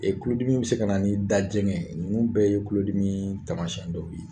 kudimi bɛ se ka na ni dajɛgɛn ye. Ninnu bɛɛ ye kulodimi tamasiyɛn dɔw ye.